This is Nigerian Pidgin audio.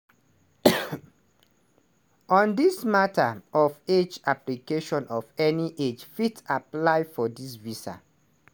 on dis mata of age applicaation of any age fit apply for di visa.